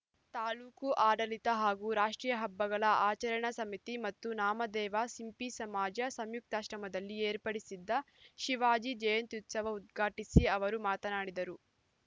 ತಾಲೂಕು ಆಡಳಿತ ಹಾಗೂ ರಾಷ್ಟ್ರೀಯ ಹಬ್ಬಗಳ ಆಚರಣಾ ಸಮಿತಿ ಮತ್ತು ನಾಮದೇವ ಸಿಂಪಿ ಸಮಾಜ ಸಂಯುಕ್ತಾಶ್ರಯದಲ್ಲಿ ಏರ್ಪಡಿಸಿದ್ದ ಶಿವಾಜಿ ಜಯಂತ್ಯುತ್ಸವ ಉದ್ಘಾಟಿಸಿ ಅವರು ಮಾತನಾಡಿದರು